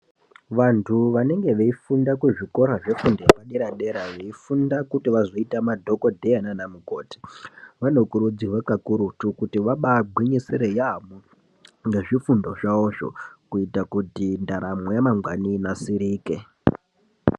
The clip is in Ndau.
Vantu vanenge beyifunda kuzvikora zvefundo yepadera dera ,beyifunda kuti vazoita madhogodheya nanamukoti. Vanokurudzirwa kakurutu kuti vabagwinyise yaambo ngezvifundo zvavo zvo, kuita kuti ntaramo yamangwana inasirike.